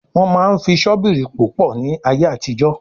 Wọ́n máa ń fi ṣọ́bìrì pò pọ̀ ní ayé àtijọ́